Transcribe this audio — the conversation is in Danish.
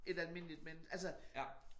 Et almindeligt men altså